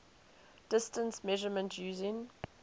distance measurement using